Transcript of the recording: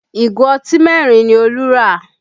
Ìgò ọtí mẹ́rin ni Olú rà